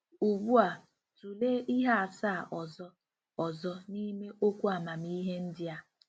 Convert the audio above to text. Ugbu a, tụlee ihe asaa ọzọ ọzọ n'ime okwu amamihe ndị a.